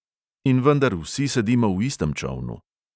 In vendar vsi sedimo v istem čolnu.